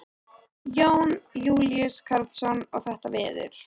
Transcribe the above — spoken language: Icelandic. Jón Júlíus Karlsson: Og þetta veður?